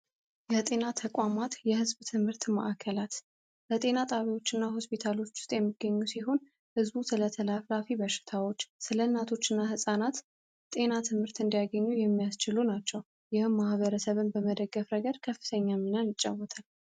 የጤና ተቋማት የሕዝብ ትምህርት ማዕከላት በጤና ጣቢያዎች እና ሆስፒታሎች ውስጥ የሚገኙ ሲሆን፤ ህዝቡ ስለ ተላላፊ በሽታዎች ስለ እናቶችና ሕፃናት ጤና ትምህርት እንዲያገኙ የሚያስችሉ ናቸው። ይህም ማህበረሰብ መደገፍ ረገድ ከፍተኛ ሚናን ይጫወታል።